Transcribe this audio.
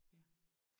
Ja